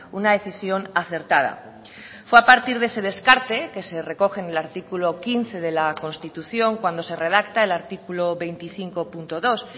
una decisión acertada fue a partir de ese descarte que se recoge en el artículo quince de la constitución cuando se redacta el artículo veinticinco punto dos